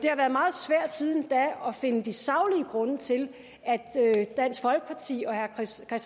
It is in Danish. har været meget svært siden da at finde de saglige grunde til at dansk folkeparti og herre kristian